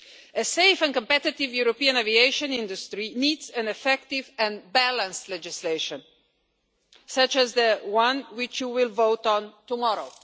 A safe and competitive European aviation industry needs an effective and balanced legislation such as the one which you will vote on tomorrow.